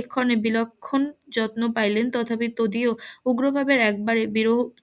এক্ষণে বিলক্ষণ যত্ন পাইলেন তথাপি তদীয় উগ্রভাবের একবারের বিরহ